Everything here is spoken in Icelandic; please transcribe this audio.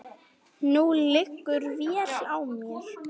Nú liggur vél á mér